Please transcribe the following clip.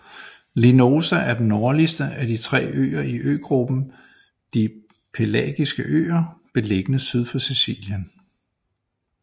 Linosa er den nordligste af de tre øer i øgruppen de Pelagiske øer beliggende syd for Sicilien